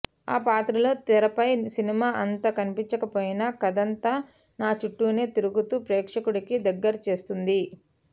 ఆ పాత్రలో తెరపై సినిమా అంతా కనిపించకపోయినా కథంతా నా చుట్టూనే తిరుగుతూ ప్రేక్షకుడికి దగ్గర చేస్తుంది